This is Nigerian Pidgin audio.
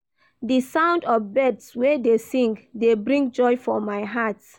Di sound of birds wey dey sing dey bring joy for my heart.